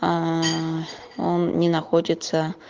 ааа он не находится